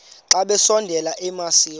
xa besondela emasuie